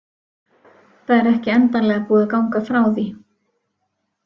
Það er ekki endanlega búið að ganga frá því.